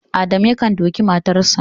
Adamu yakan duke matarsa